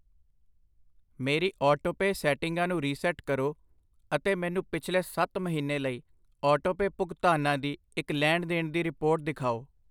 ਮੇਰੀ ਆਟੋਪੇਅ ਸੈਟਿੰਗਾਂ ਨੂੰ ਰੀਸੈਟ ਕਰੋ ਅਤੇ ਮੈਨੂੰ ਪਿਛਲੇ ਸੱਤ ਮਹੀਨੇ ਲਈ ਆਟੋਪੇਅ ਭੁਗਤਾਨਾਂ ਦੀ ਇੱਕ ਲੈਣ ਦੇਣ ਦੀ ਰਿਪੋਰਟ ਦਿਖਾਓ।